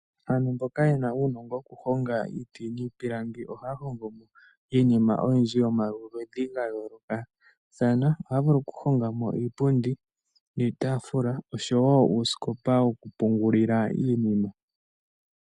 Aantu mboka ye na uunongo wokuhonga iiti niipilangi ohaya hongo mo iinima oyindji yomaludhi ga yoolokathana. Ohaya vulu okuhonga mo iipundi niitaafula nosho wo uusikopa wokupungulila iinima.